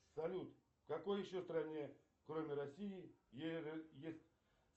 салют в какой еще стране кроме россии есть